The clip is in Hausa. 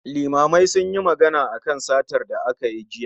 Limamai sunyi magana akan satar da aka yi jiya